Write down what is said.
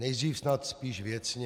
Nejdřív snad spíš věcně.